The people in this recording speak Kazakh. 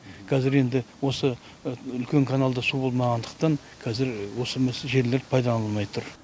қазір енді осы үлкен каналда су болмағандықтан қазір осы жерлер пайдаланылмай тұр